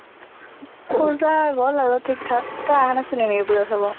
পূজা গল আৰু ঠিক থাক, তই আহা নাছিলি নেকি পূজা চাব?